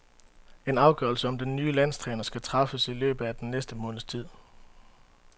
En afgørelse om den nye landstræner skal træffes i løbet af den næste måneds tid.